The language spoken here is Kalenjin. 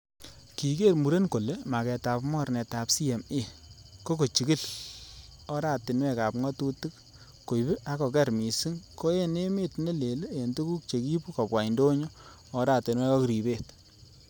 Kiker muren kole mageetab mornetab CMA, ko kochigil oratinwek ab ngatutik kooib ak kogeer misiing ko en emet ne leel en tuguk chekiibu kobwa indonyo, oratinwek ak ribet.